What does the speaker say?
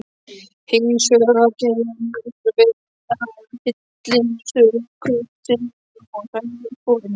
Hinsvegar kemur veghefillinn stöku sinnum og hrærir upp forinni.